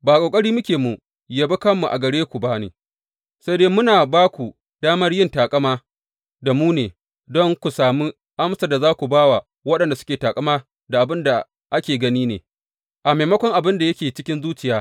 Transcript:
Ba ƙoƙari muke mu yabe kanmu a gare ku ba ne, sai dai muna ba ku damar yin taƙama da mu ne, don ku sami amsar da za ku ba wa waɗanda suke taƙama da abin da ake gani ne, a maimakon abin da yake cikin zuciya.